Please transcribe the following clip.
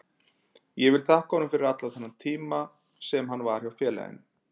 Ég vil þakka honum fyrir allan þennan tíma sem hann var hjá félaginu.